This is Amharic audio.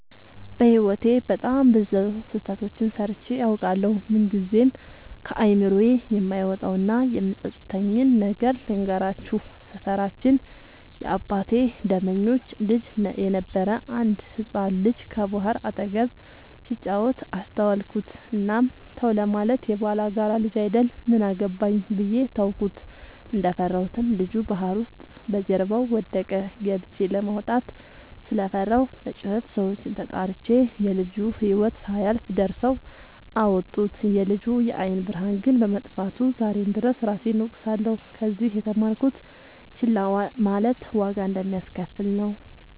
በህይወቴ በጣም ብዙ ስህተቶችን ሰርቸ አውቃለሁ። ምንግዜም ከአይምሮዬ የማይወጣው እና የሚፀፅተኝን ነገር ልንገራችሁ። ሰፈራችን የአባቴ ደመኞች ልጅ የነበረ አንድ ህፃን ልጅ ከባህር አጠገብ ሲጫወት አስተዋልኩት። እናም ተው ለማለት የባላጋራ ልጅ አይደል ምን አገባኝ ብዬ ተውኩት። እንደፈራሁትም ልጁ ባህር ውስጥ በጀርባው ወደቀ። ገብቸ ለማውጣት ስለፈራሁ በጩኸት ሰዎችን ተጣርቸ የልጁ ህይወት ሳያልፍ ደርሰው አወጡት። የልጁ የአይን ብርሃን ግን በመጥፋቱ ዛሬም ድረስ እራሴን እወቅሳለሁ። ከዚህ የተማርኩት ችላ ማለት ዋጋ እንደሚያሰከፍል ነው።